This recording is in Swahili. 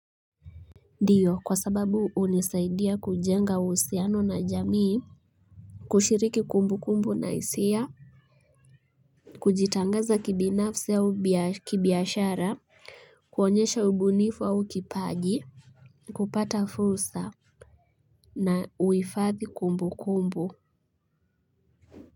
Ndiyo kwa sababu unisaidia kujenga usiano na jamii. Kushiriki kumbu kumbu na isia kujitangaza kibinafse au kibiashara kuonyesha ubunifu au kipaji kupata fursa na uifathi kumbu kumbu.